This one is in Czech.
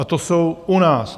A to jsou u nás.